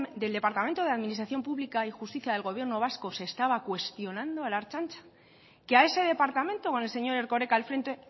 del departamento de administración pública y justicias del gobierno vasco se estaba cuestionando a la ertzaintza que a ese departamento con el señor erkoreka al frente